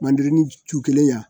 Mandirinin cu kelen y'an